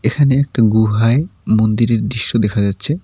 এখানে একটা গুহায় মন্দিরের দৃশ্য দেখা যাচ্ছে।